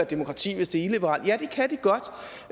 demokrati hvis det er illiberalt ja